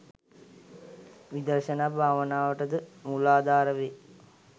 විදර්ශනා භාවනාවට ද මූලාධාර වේ.